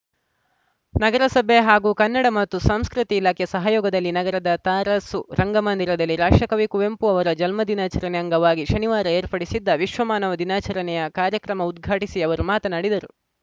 ನಗರಸಭೆ ಹಾಗೂ ಕನ್ನಡ ಮತ್ತು ಸಂಸ್ಕೃತಿ ಇಲಾಖೆ ಸಹಯೋಗದಲ್ಲಿ ನಗರದ ತರಾಸು ರಂಗಮಂದಿರದಲ್ಲಿ ರಾಷ್ಟ್ರಕವಿ ಕುವೆಂಪು ಅವರ ಜನ್ಮ ದಿನಾಚರಣೆ ಅಂಗವಾಗಿ ಶನಿವಾರ ಏರ್ಪಡಿಸಿದ್ದ ವಿಶ್ವ ಮಾನವ ದಿನಾಚರಣೆ ಕಾರ್ಯಕ್ರಮ ಉದ್ಘಾಟಿಸಿ ಅವರು ಮಾತನಾಡಿದರು